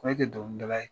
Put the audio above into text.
Ko e tɛ dɔnkilidala ye